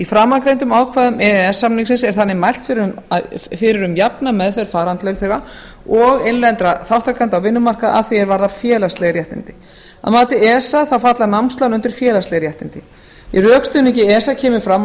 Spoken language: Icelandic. framangreindum ákvæðum e e s samningsins er þannig mælt fyrir um jafna meðferð farandlaunþega og innlendra þátttakenda á vinnumarkaði að því er varðar félagsleg réttindi að mati esa falla námslán undir félagsleg réttindi í rökstuðningi esa kemur fram að